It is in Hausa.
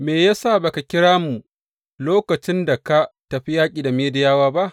Me ya sa ba ka kira mu lokacin da ka tafi yaƙi da Midiyawa ba?